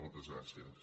moltes gràcies